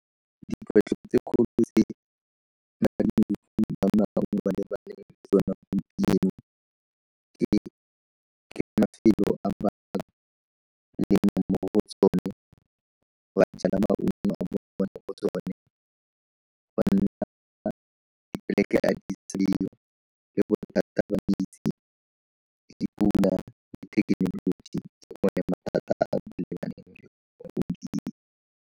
Dikgwetlho tse kgolo tse ba lebaneng le tsone gompieno ke mafelo a ba jala maungo a bone mo go tsone .